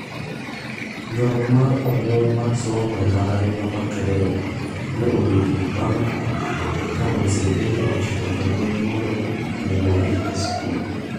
Ywaruok mar omuom mar somo e mbalariany ma Makerere ne obetie bang' ka Museveni ochiko jolweny mondo owuogi e skul.